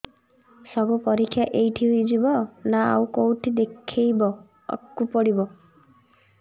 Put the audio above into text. ସବୁ ପରୀକ୍ଷା ଏଇଠି ହେଇଯିବ ନା ଆଉ କଉଠି ଦେଖେଇ ବାକୁ ପଡ଼ିବ